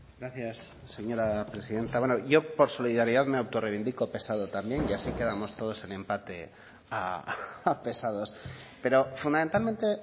gracias señora presidenta bueno yo por solidaridad me autorreivindico pesado también y así quedamos todos en empate a pesados pero fundamentalmente